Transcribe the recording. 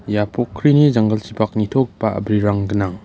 ia pokrini janggilchipak nitogipa a·brirang gnang.